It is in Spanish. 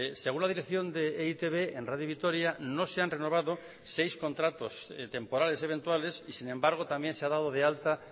según la dirección de e i te be en radio vitoria no se han renovado seis contratos temporales eventuales y sin embargo también se ha dado de alta